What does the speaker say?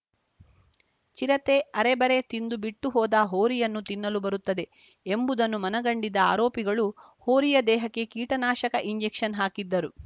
ಚಿರತೆ ಅರೆಬರೆ ತಿಂದು ಬಿಟ್ಟು ಹೋದ ಹೋರಿಯನ್ನು ತಿನ್ನಲು ಬರುತ್ತದೆ ಎಂಬುದನ್ನು ಮನಗಂಡಿದ್ದ ಆರೋಪಿಗಳು ಹೋರಿಯ ದೇಹಕ್ಕೆ ಕೀಟನಾಶಕ ಇಂಜೆಕ್ಷನ್‌ ಹಾಕಿದ್ದರು